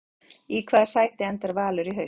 Í hvaða sæti enda Valur í haust?